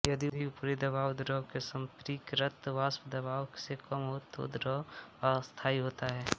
यदि ऊपरी दबाव द्रव के संपृक्तवाष्पदबाव से कम हो तो द्रव अस्थायी होता है